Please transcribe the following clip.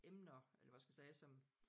Emner eller hvad skal jeg sige som